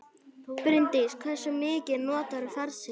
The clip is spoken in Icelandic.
Bryndís: Hversu mikið notarðu farsíma?